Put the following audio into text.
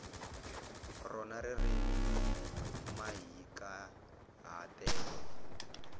rona ririmi ni mahikahatelo